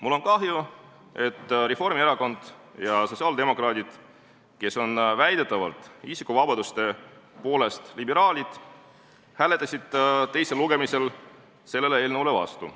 Mul on kahju, et Reformierakond ja sotsiaaldemokraadid, kes on väidetavalt isikuvabaduste mõttes liberaalid, hääletasid teisel lugemisel selle eelnõu vastu.